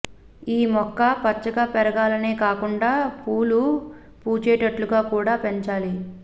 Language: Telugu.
ఈ మొక్క పచ్చగా పెరిగేలానే కాకుండా పూలు పూచేటట్లుగా కూడా పెంచాలి